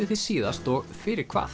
þið síðast og fyrir hvað